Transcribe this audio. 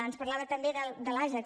ens parlava també de l’ajax